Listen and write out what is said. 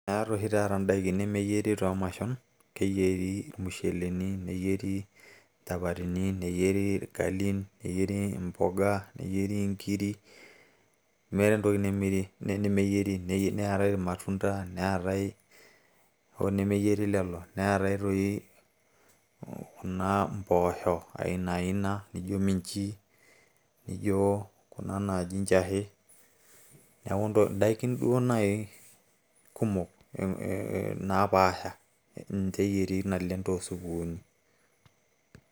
meeta oshi taata indaikin nemeyieri toomashon keyieri irmusheleni neyieri inchapatini neyieri irgalin neyieri impoga neyieri inkiri meeta entoki nemeyieri neetay ir matunda neetay hoo nemeyieri lelo neetay toi kuna impooshok aina aina nijo miinchi nijo njahe neeku indaikin duo naaji kumok naapasha ninche eyieri naleng too supukuni.